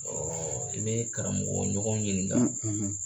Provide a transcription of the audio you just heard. i bɛ i karamɔgɔɲɔgɔn ɲininka